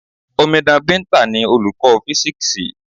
Omidan Binta ni Olùkọ́ físíksì.